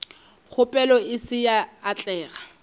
kgopelo e se ya atlega